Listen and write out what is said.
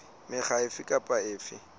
mekga efe e meng e